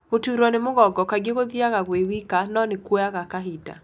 Gũturo ni mũgongo, kaingĩ gũthiaga gwĩ wika no nĩ kuoyaga kahinda.